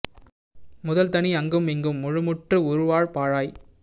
முதல் தனி அங்கும் இங்கும் முழு முற்று உறு வாழ் பாழாய்